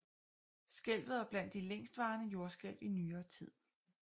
Skælvet var blandt de længstvarende jordskælv i nyere tid